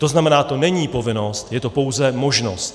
To znamená, to není povinnost, je to pouze možnost.